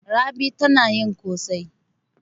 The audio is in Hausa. Rabi tana yin ƙosai.